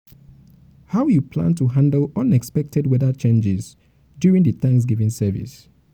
how you plan to handle unexpected weather changes during di thanksgiving service?